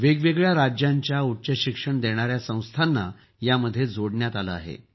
वेगवेगळ्या राज्यांच्या उच्चशिक्षण देणाऱ्या संस्थांना यात जोडण्यात आलं आहे